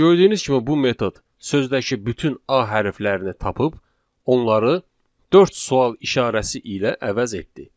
Gördüyünüz kimi bu metod sözdəki bütün a hərflərini tapıb onları dörd sual işarəsi ilə əvəz etdi.